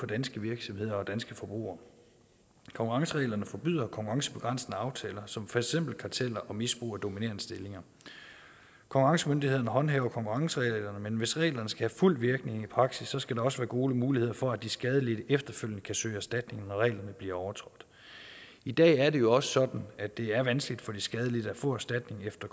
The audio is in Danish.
danske virksomheder og danske forbrugere konkurrencereglerne forbyder konkurrencebegrænsende aftaler som for eksempel karteller og misbrug af dominerende stillinger konkurrencemyndighederne håndhæver konkurrencereglerne men hvis reglerne skal have fuld virkning i praksis skal der også være gode muligheder for at de skadelidte efterfølgende kan søge erstatning når reglerne bliver overtrådt i dag er det jo sådan at det er vanskeligt for de skadelidte at få erstatning efter